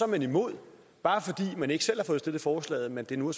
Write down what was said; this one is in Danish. man imod bare fordi man ikke selv har fået stillet forslaget da det nu er